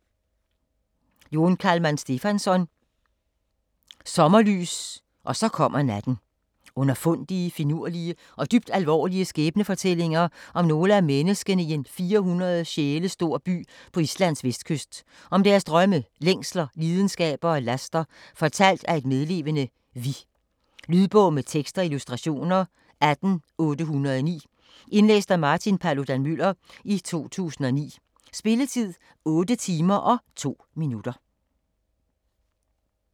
Jón Kalman Stefánsson: Sommerlys og så kommer natten Underfundige, finurlige og dybt alvorlige skæbnefortællinger om nogle af menneskene i en 400 sjæle stor by på Islands vestkyst, om deres drømme, længsler, lidenskaber og laster, fortalt af et medlevende "vi". Lydbog med tekst og illustrationer 18809 Indlæst af Martin Paludan-Müller, 2009. Spilletid: 8 timer, 2 minutter.